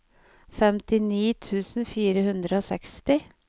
femtini tusen fire hundre og seksti